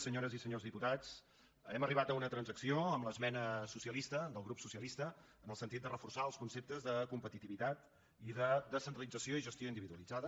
senyores i senyors diputats hem arribat a una transacció amb l’esmena socialista del grup socialista en el sentit de reforçar els conceptes de competitivitat i de descentralització i gestió individualitzada